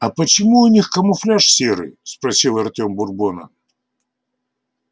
а почему у них камуфляж серый спросил артём бурбона